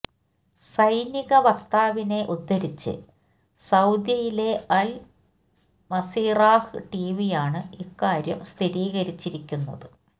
സൈനിക വക്താവിനെ ഉദ്ധരിച്ച് സൌദിയിലെ അൽ മസിറാഹ് ടിവിയാണ് ഇക്കാര്യം സ്ഥിരീകരിച്ചിരിക്കുന്നത്